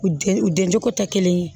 U den u den cogo tɛ kelen ye